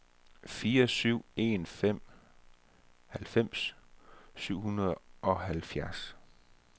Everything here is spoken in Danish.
fire syv en fem halvfems syv hundrede og halvfjerds